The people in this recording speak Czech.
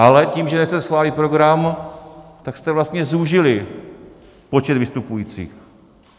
Ale tím, že nechcete schválit program, tak jste vlastně zúžili počet vystupujících.